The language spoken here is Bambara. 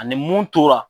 Ani mun tora